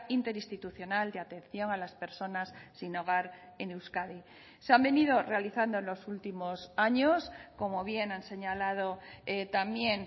interinstitucional de atención a las personas sin hogar en euskadi se han venido realizando en los últimos años como bien han señalado también